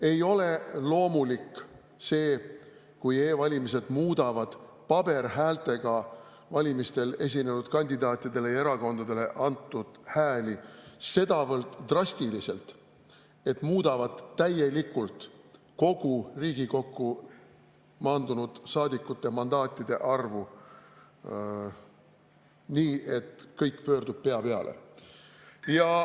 Ei ole loomulik see, et e-valimised muudavad valimistel osalenud kandidaatidele ja erakondadele antud hääli sedavõrd drastiliselt, et muudavad täielikult kogu Riigikokku maandunud saadikute mandaatide arvu nii, et kõik pöördub pea peale.